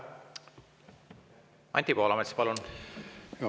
Anti Poolamets, palun!